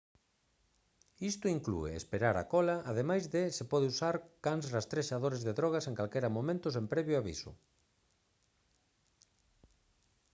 isto inclúe esperar á cola ademais de se poder usar cans rastrexadores de drogas en calquera momento sen previo aviso